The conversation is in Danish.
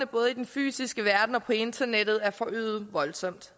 både den fysiske verden og på internettet er forøget voldsomt